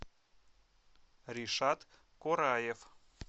ришат кураев